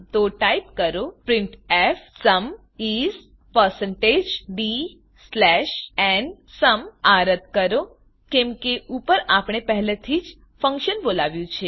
તો ટાઈપ કરો printfસુમ is160dnસુમ આ રદ કરોકેમ કે ઉપર આપણે પહેલાથી જ ફંક્શન બોલાવ્યું છે